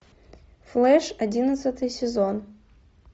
флеш одиннадцатый сезон